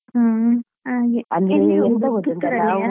ಹ್ಮ್ ಹಾಗೆ ಎಲ್ಲಿ ಹೋಗುದು ಪುತ್ತೂರಲ್ಲಿಯಾ?